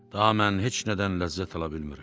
Daha mən heç nədən ləzzət ala bilmirəm.